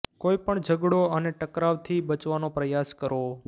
કોઈ પણ ઝગડો અને ટકરાવ થી બચવાનો પ્રયાસ કરો